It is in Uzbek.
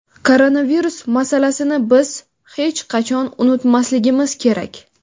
Koronavirus masalasini biz hech qachon unutmasligimiz kerak.